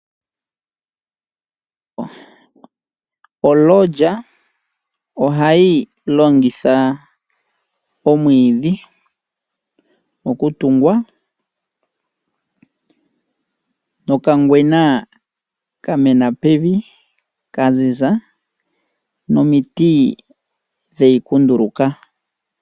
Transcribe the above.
Olodge ohayi longitha omwiidhi, okutungwa, nokangwena haka kala kamena pevi, kaziza, noshowo omiti dheyi kunduluka.